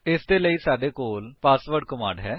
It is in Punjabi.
ਇਸਦੇ ਲਈ ਸਾਡੇ ਕੋਲ ਪੱਸਵਾਦ ਕਮਾਂਡ ਹੈ